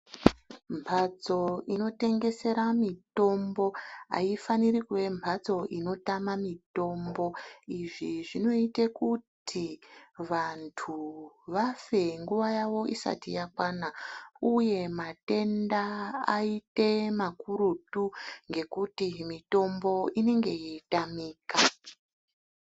Mbatso inotengesera mitombo , aifaniri kuve mbatso inotame mitombo izvi zvinoita kuti vantu vafe nguva yavo isati yakwana uye matenda aite makurutu ngekuti mitombo inenge yeitamika.